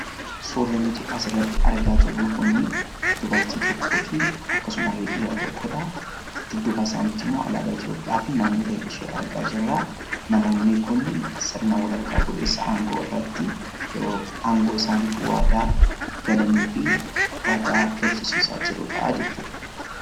suurrenoti as irratti argaa jirroo kun dubartii tokkoo fi akkasumarri dhiira tokkodha duddubaa isaanitti imoo alaaba eetiyopiyaa fi naannole ishee argaa jirraa namoonni kun sirna walarqaa fudhessaa hangoo irratti yeroo hangoo isaaniif waadaa galanii fi waadaa galchisiisaa jiruudhaajechuudha